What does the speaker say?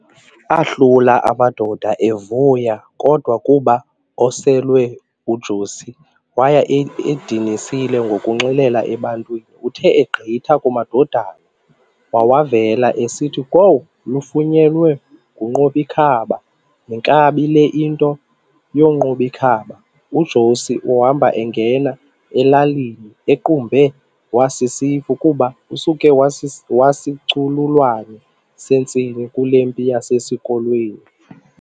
Ahlula amadoda, evuya kodwa kuba oselwe u"Josi", waye edinisile ngokunxilela ebantwini. Uthe egqitha kumadodana wawavela esithi,-"Kwowu! lufunyenwe nguQob'ikhaba, yinkabi le nto u"Qob'ikhaba".". UJosi uhambe engena elalini equmbe wasisifu kuba esuke wasicululwane sentsini kule mpi yasesikolweni.